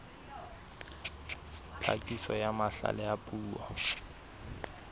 tlhakiso ya mahlale a puo